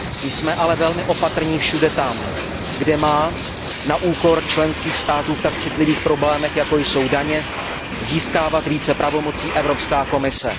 Jsme ale velmi opatrní všude tam, kde má na úkor členských států v tak citlivých problémech, jako jsou daně získávat více pravomocí Evropská komise.